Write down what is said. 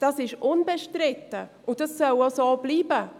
Dies ist unbestritten, und dies soll auch so bleiben.